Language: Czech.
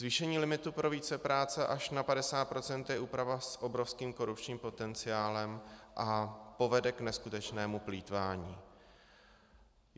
Zvýšení limitu pro vícepráce až na 50 % je úprava s obrovským korupčním potenciálem a povede k neskutečnému plýtvání.